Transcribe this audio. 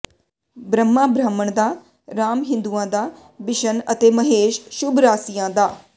ਬ੍ਰਹਮਾ ਬਰਾਹਮਣਾ ਦਾ ਰਾਮ ਹਿੰਦੂਆਂ ਦਾ ਬਿਸ਼ਨ ਅਤੇ ਮਹੇਸ਼ ਸ਼ੁਭ ਰਾਸੀਆਂ ਦਾ